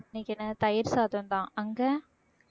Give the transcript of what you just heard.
இன்னைக்கு என்ன தயிர் சாதம்தான், அங்க